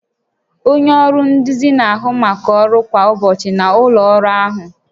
Onye nduzi na-ahụ maka ọrụ kwa ụbọchị na ụlọ ọrụ ahụ